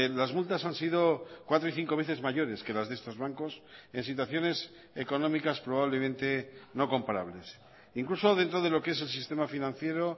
las multas han sido cuatro y cinco veces mayores que las de estos bancos en situaciones económicas probablemente no comparables incluso dentro de lo que es el sistema financiero